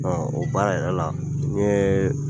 O baara yɛrɛ la n ye